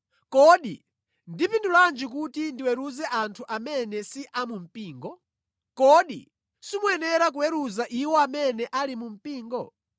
Kodi ndipindulanji kuti ndiweruze anthu amene si a mu mpingo? Kodi simuyenera kuweruza iwo amene ali mu mpingo?